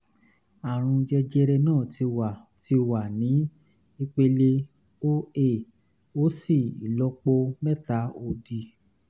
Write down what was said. àrùn jẹjẹrẹ náà ti wà ti wà ní ipele 0a ó sì ìlọ́po mẹ́ta òdì